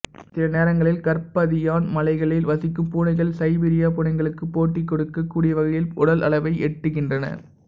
சில நேரங்களில் கர்பாதியன் மலைகளில் வசிக்கும் பூனைகள் சைபீரிய பூனைகளுக்கு போட்டி கொடுக்கக் கூடிய வகையில் உடல் அளவை எட்டுகின்றன